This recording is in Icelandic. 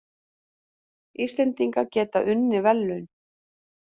Íslendingar geta unnið verðlaun